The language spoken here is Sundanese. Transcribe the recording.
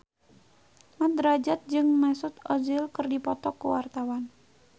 Mat Drajat jeung Mesut Ozil keur dipoto ku wartawan